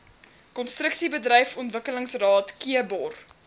konstruksiebedryf ontwikkelingsraad kbor